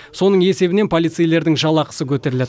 соның есебінен полицейлердің жалақысы көтеріледі